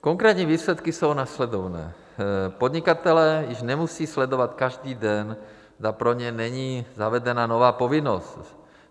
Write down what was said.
Konkrétní výsledky jsou následovné: podnikatelé již nemusí sledovat každý den, zda pro ně není zavedena nová povinnost.